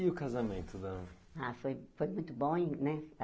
E o casamento da... Ah, foi foi muito bom, e né?